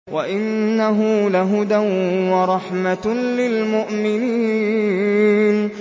وَإِنَّهُ لَهُدًى وَرَحْمَةٌ لِّلْمُؤْمِنِينَ